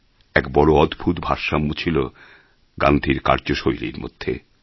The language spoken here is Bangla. এক বড় অদ্ভূত ভারসাম্য ছিল গান্ধীর কার্যশৈলীর মধ্যে